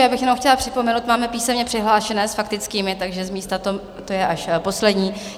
Já bych jenom chtěla připomenout, máme písemně přihlášené s faktickými, takže z místa to je až poslední.